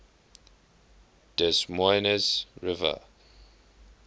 des moines river